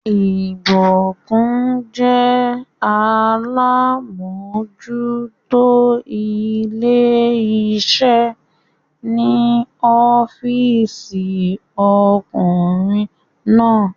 Ìbùkún jẹ́ alámójútó ilé iṣẹ́ ní ọ́físì ọkùnrin náà